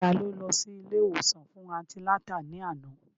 Ta ló lọ sí ilé ìwòsàn fún antinátà ní àná?